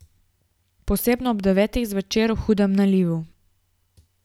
Posebno ob devetih zvečer v hudem nalivu.